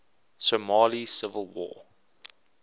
somali civil war